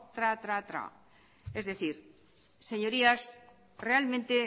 tra tra tra es decir señorías realmente